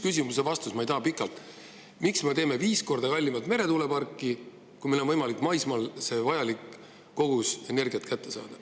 Meil on vaja lihtsalt üht vastust, miks me teeme viis korda kallimat meretuuleparki, kui meil on võimalik maismaal vajalik kogus energiat kätte saada.